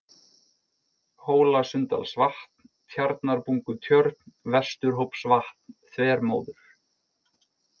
Hólasunndalsvatn, Tjarnarbungutjörn, Vesturhópsvatn, Þvermóður